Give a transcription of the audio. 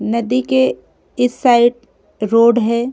नदी के इस साइड रोड हैं।